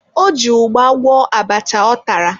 O ji ụgba gwọọ abacha ọ tara.